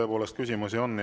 Tõepoolest, küsimusi on.